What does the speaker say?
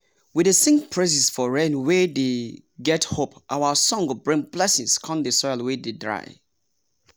we dey sing praises for rainwe dey get hope our song go bring blessings com the soil wey dey dry.